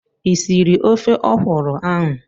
I sịrị ofe ọkwụrụ ahụ?